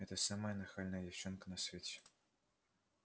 это самая нахальная девчонка на свете